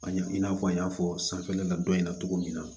An ye i n'a fɔ an y'a fɔ sanfɛla dɔ in na cogo min na